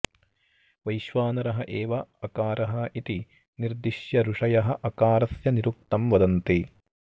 वैश्वानरः एव अकारः इति निर्दिश्य ऋषयः अकारस्य निरुक्तं वदन्ति